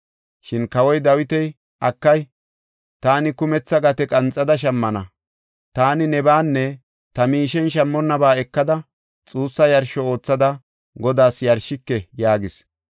Shin kawoy Dawiti, “Akay, taani kumetha gate qanxada shammana. Taani nebaanne ta miishen shammonnaba ekada xuussa yarsho oothada Godaas yarshike” yaagis.